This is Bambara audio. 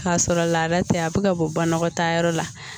K'a sɔrɔ laada tɛ a bɛ ka bɔ banakɔtaa yɔrɔ la